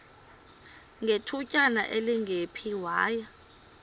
ngethutyana elingephi waya